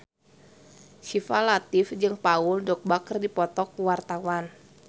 Syifa Latief jeung Paul Dogba keur dipoto ku wartawan